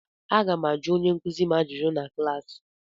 Aga m ajụ onye nkuzi m ajụjụ na klaasị.